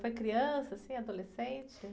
Foi criança, assim, adolescente?